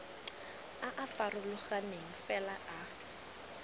a a farologaneng fela a